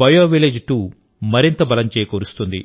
bio village 2మరింత బలం చేకూరుస్తుంది